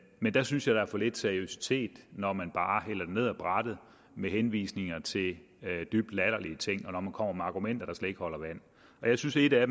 men jeg synes at der er for lidt seriøsitet når man bare hælder det ned ad brættet med henvisninger til dybt latterlige ting og når man kommer med argumenter der slet ikke holder vand jeg synes at et af